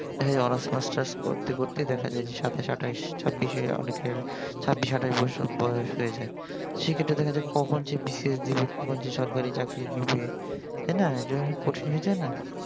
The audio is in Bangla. honours masters করতে করতেই দেখা যায় যে সাতাশ আটাশ অনেকের ছাব্বিশের অনেকের ছাব্বিশ আটাইশ বছর বয়স হয়ে যায় সেক্ষেত্রে দেখা যায় যে কখন যে BCS দিবে কখন সে সরকারি চাকরি নিবে তাই না এইটা অনেক কঠিন হয়ে যায় না?